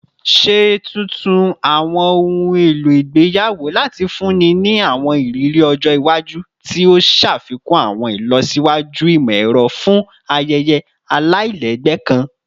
Ṣe tuntun awọn ohun elo igbeyawo lati funni ni awọn iriri ọjọ iwaju, ti o ṣafikun awọn ilọsiwaju imọ-ẹrọ fun ayẹyẹ alailẹgbẹ kan